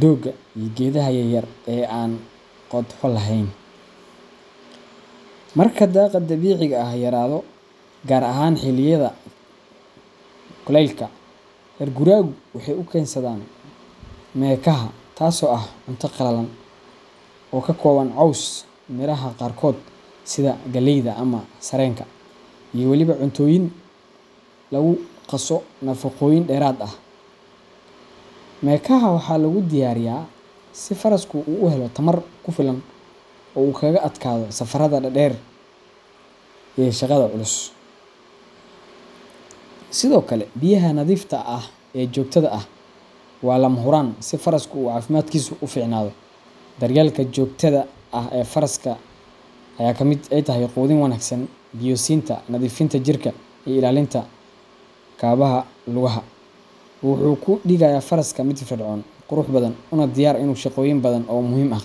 doogga iyo geedaha yar yar ee aan qodxo lahayn. Marka daaqa dabiiciga ah yaraado, gaar ahaan xilliyada kullaylka, reer guuraagu waxay u keensadaan mekaha taasoo ah cunto qallalan oo ka kooban caws, miraha qaarkood sida galleyda ama sarreenka, iyo waliba cuntooyin lagu qaso nafaqooyin dheeraad ah. Mekaha waxaa lagu diyaariyaa si farasku u helo tamar ku filan oo uu kaga adkaado safarada dheer dheer iyo shaqada culus. Sidoo kale biyaha nadiifta ah ee joogtada ah waa lama huraan si farasku caafimaadkiisu u fiicnaado. Daryeelka joogtada ah ee faraska, oo ay ka mid tahay quudin wanaagsan, biyo siinta, nadiifinta jirka iyo ilaalinta kabaha lugaha, wuxuu ka dhigayaa faraska mid firfircoon, qurux badan, una diyaar ah inuu shaqooyin badan oo muhiim ah qabto.